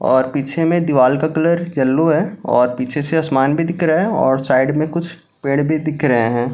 और पीछे में दीवाल का कलर येलो है और पीछे से असमान भी दिख रहा है और साइड में कुछ पेड़ भी दिख रहे हैं।